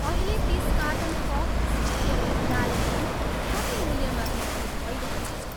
अहिले तिस कार्टन कक स्पेसियल गुलाल ग्रिन कति मूल्यमा बिक्री भइरहेको छ?